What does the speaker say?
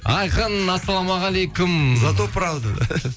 айқын ассалаумағалейкум за то правда